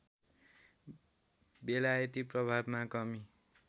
बेलायती प्रभावमा कमी